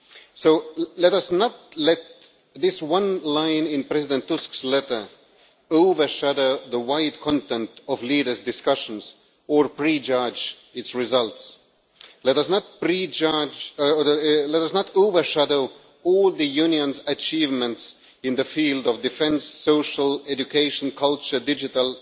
So let us not let this one line in President Tusk's letter overshadow the wide content of leaders' discussions or prejudge its results. Let it not overshadow all the Union's achievements in the field of defence, social, education, culture, digital,